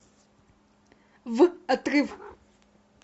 в отрыв